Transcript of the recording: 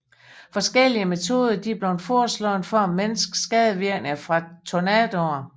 Forskellige metoder er blevet foreslået for at mindske skadevirkningerne fra tornadoer